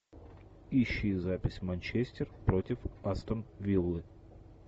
ищи запись манчестер против астон виллы